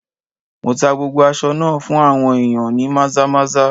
Mo tá gbogbo aṣọ náà fún àwọn ìyàn ní Maza-maza.